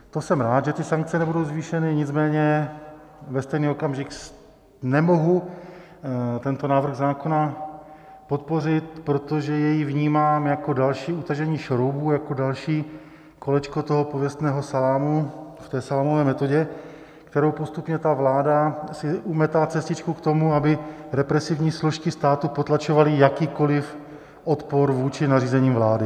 To jsem rád, že ty sankce nebudou zvýšeny, nicméně ve stejný okamžik nemohu tento návrh zákona podpořit, protože jej vnímám jako další utažení šroubů, jako další kolečko toho pověstného salámu v té salámové metodě, kterou postupně ta vláda si umetá cestičku k tomu, aby represivní složky státu potlačovaly jakýkoli odpor vůči nařízením vlády.